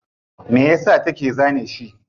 Mayasa take zane shi?